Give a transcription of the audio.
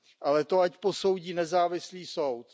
Ale to ať posoudí nezávislý soud.